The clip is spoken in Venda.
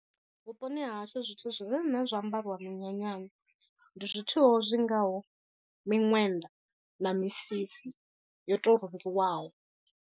Vhuponi ha hashu zwithu zwine nṋe zwa ambariwa minyanyani ndi zwithu zwi ngaho miṅwenda na misisi yo to rungiwaho.